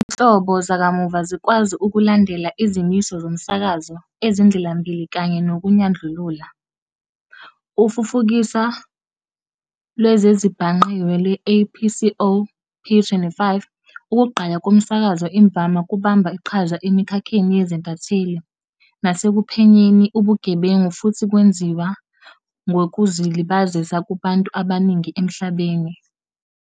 Izinhlobo zakamuva zikwazi ukulandela izimiso zomsakazo ezindlelambili kanye nokunyandlulula, ufufukiso lwezezibhangqiwe lwe-APCO-P25. Ukugqaya ngomsakazo imvama kubamba iqhaza emikhakheni yezintatheli, nasekuphenyeni ubugebengu, futhi kwenziwa kwezokuzilabazisa kubantu abaningi emhlabeni.